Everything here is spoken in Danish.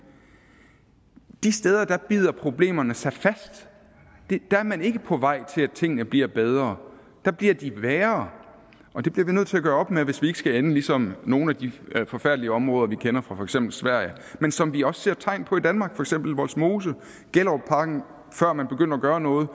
de steder bider problemerne sig fast og der er man ikke på vej til at tingene bliver bedre der bliver de værre og det bliver vi nødt til at gøre op med hvis ikke vi skal ende ligesom nogle af de forfærdelige områder vi kender fra for eksempel sverige men som vi også ser tegn på i danmark for eksempel vollsmose gellerupparken før man begyndte at gøre noget